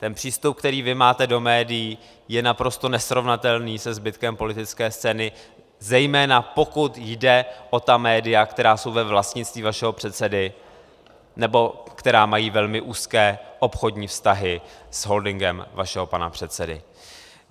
Ten přístup, který vy máte do médií, je naprosto nesrovnatelný se zbytkem politické scény, zejména pokud jde o ta média, která jsou ve vlastnictví vašeho předsedy nebo která mají velmi úzké obchodní vztahy s holdingem vašeho pana předsedy.